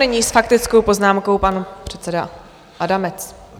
Nyní s faktickou poznámkou pan předseda Adamec.